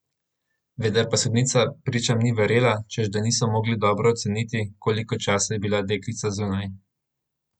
Vendar pa sodnica pričam ni verjela, češ da niso mogli dobro oceniti, koliko časa je bila deklica zunaj.